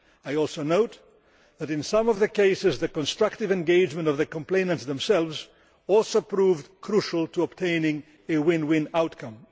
I also note that, in some of the cases, the constructive engagement of the complainants themselves also proved crucial to obtaining a win win outcome.